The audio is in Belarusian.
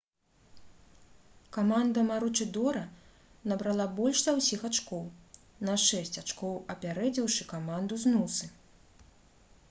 каманда маручыдора набрала больш за ўсіх ачкоў на шэсць ачкоў апярэдзіўшы каманду з нусы